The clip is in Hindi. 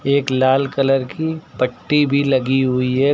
एक लाल कलर की पट्टी भी लगी हुई है।